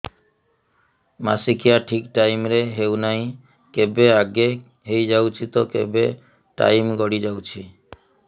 ମାସିକିଆ ଠିକ ଟାଇମ ରେ ହେଉନାହଁ କେବେ ଆଗେ ହେଇଯାଉଛି ତ କେବେ ଟାଇମ ଗଡି ଯାଉଛି